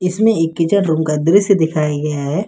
इसमें एक kitchen room का दृश्य दिखाया गया है।